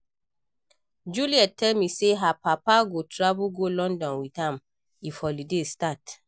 Juliet tell me say her papa go travel go London with am if holiday start